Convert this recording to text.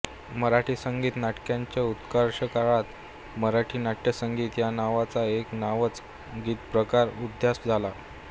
मराठी संगीत नाटकांच्या उत्कर्षकाळात मराठी नाट्यसंगीत या नावाचा एक नवाच गीतप्रकार उदयास आला